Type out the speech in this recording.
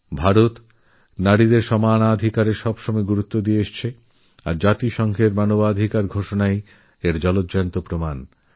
ভারত নারীর সমান অধিকারের উপর সব সময় জোর দিয়েছে আর UN declaration of human rights এর জীবন্ত উদাহরণ